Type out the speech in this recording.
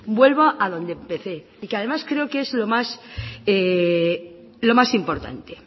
vuelvo a donde empecé y que además creo que es lo más importante